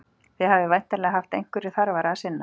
Þið hafið væntanlega haft einhverju þarfara að sinna.